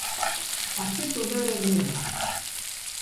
Kakšne so zdaj razmere?